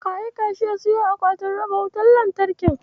Ka aika shi ya siyo akwatin raba wutar lantarkin?